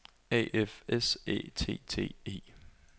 A F S Æ T T E